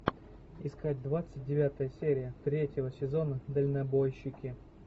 искать двадцать девятая серия третьего сезона дальнобойщики